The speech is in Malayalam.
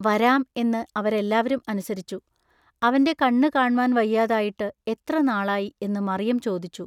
വരാം എന്ന അവരെല്ലാവരും അനുസരിച്ചു. അവന്റെ കണ്ണു കാണ്മാൻ വഹിയാതായിട്ടു എത്ര നാളായി എന്നു മറിയം ചൊദിച്ചു.